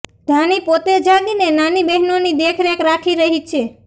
ધાની પોતે જાગીને નાની બહેનોની દેખરેખ રાખી રહી છે